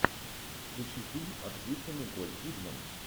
включи фильм актриса николь кидман